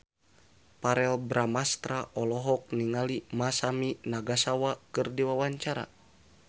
Verrell Bramastra olohok ningali Masami Nagasawa keur diwawancara